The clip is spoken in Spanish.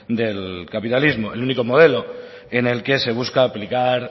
del capitalismo el único modelo en el que se busca aplicar